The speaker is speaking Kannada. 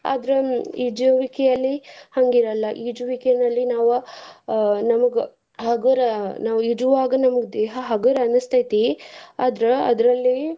ಆದ್ರ ಈಜುವಿಕೆಯಲ್ಲಿ ಹಂಗೀರಲ್ಲ ಈಜುವಿಕೆನಲ್ಲಿ ನಾವ್ ಅ ನಮ್ಗ ಹಗುರ ನಾವ್ ಈಜುವಾಗ ನಮ್ಗ ದೇಹಾ ಹಗೂರ್ ಅನ್ನಸ್ತೇತಿ ಆದ್ರ ಅದ್ರಲ್ಲಿ.